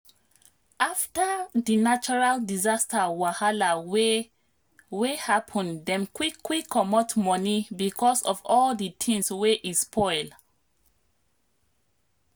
after di natural disaster wahala wey wey happen dem quick quick comot money because of all di things wey e spoil